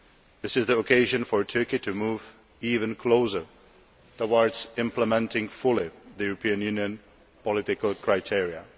This is the occasion for Turkey to move even closer towards implementing fully the European Union political criteria.